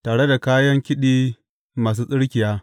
Tare da kayan kiɗi masu tsirkiya.